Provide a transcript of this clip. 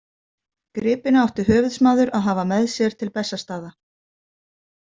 Gripina átti höfuðsmaður að hafa með sér til Bessastaða.